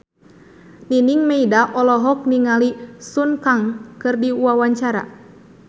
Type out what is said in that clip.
Nining Meida olohok ningali Sun Kang keur diwawancara